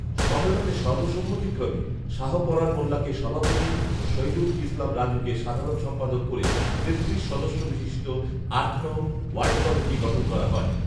সন্মেলনে সর্বসম্মতিক্রমে শাহপরাণ মোল্লাকে সভাপতি ও শহিদুল ইসলাম রাজুকে সাধারণ সম্পাদক করে তেত্রিশ সদস্য বিশিষ্ট আট নং ওয়ার্ড কমিটি গঠন করা হয়